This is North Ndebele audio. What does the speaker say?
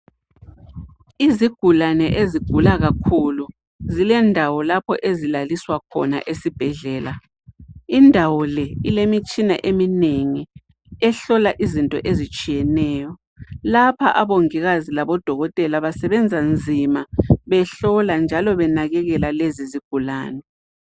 Izigulani ezigula kakhulu zilendawo lapha ezilaliswa khona esibhedlela indawo le ilemitshina eminengi ehlola izinto ezitsheyeneyo lapha omongikazi labo dokotela basebenza nzima behlola njalo benakekela lezi izigulani